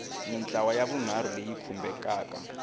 mintlawa ya vunharhu leyi khumbekaka